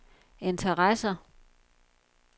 interesser